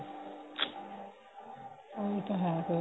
ਉਹੀ ਤਾਂ ਹੈ ਫੇਰ